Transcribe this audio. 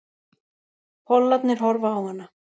Pollarnir horfa á hana.